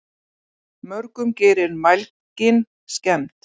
Mörgum gerir mælgin skemmd.